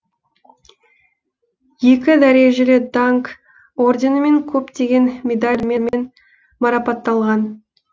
екі дәрежелі даңқ орденімен көптеген медальдармен марапатталған